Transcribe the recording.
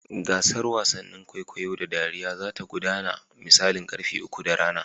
Gasar wasannin wasan kwaikwayo da dariya za ta gudana da misalin karfe uku na rana.